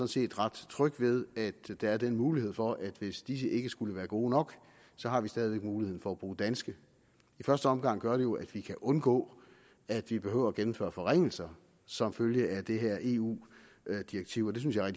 set ret tryg ved at der er den mulighed for at hvis disse ikke skulle være gode nok har vi stadig væk muligheden for at bruge danske i første omgang gør det jo at vi kan undgå at vi behøver at gennemføre forringelser som følge af det her eu direktiv og det synes jeg er